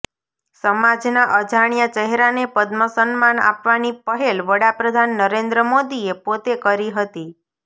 સમાજના અજાણ્યા ચહેરાને પદ્મ સન્માન આપવાની પહેલ વડાપ્રધાન નરેન્દ્ર મોદીએ પોતે કરી હતી